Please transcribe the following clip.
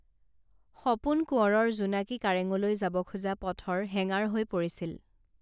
সপোন কোৱঁৰৰ জোনাকী কাৰেঙলৈ যাব খোজা পথৰ হেঙাৰ হৈ পৰিছিল